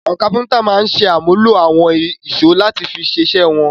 Àwọn kápẹ́ńtà máa ń ṣàmúlò àwọn ìṣó láti fi ṣiṣẹ́ wọn.